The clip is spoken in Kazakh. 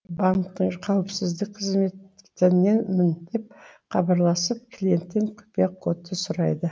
банктің қауіпсіздік қызметіненмін деп хабарласып клиенттен құпия кодты сұрайды